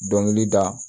Dɔnkili da